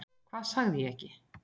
Hvað sagði ég ekki?